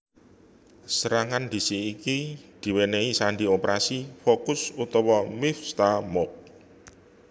Serangan ndhisiki iki diwènèhi sandi Operasi Focus utawa Mivtza Moked